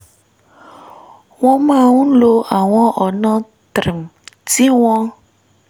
wọ́n máa ń lo àwọn ọ̀nà tí wọ́n